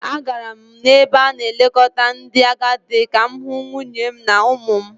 Agara m n’ebe a na-elekọta ndị agadi ka m hụ nwunye m na ụmụ m